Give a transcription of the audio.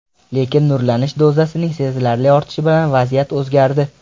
Lekin nurlanish dozasining sezilarli ortishi bilan vaziyat o‘zgardi.